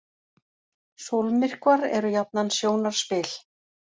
Sólmyrkvar eru jafnan sjónarspil.